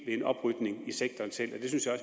en oprydning i sektoren selv